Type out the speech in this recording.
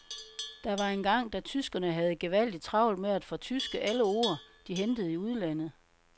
Der var engang, da tyskerne havde gevaldig travlt med at fortyske alle ord, de hentede i udlandet.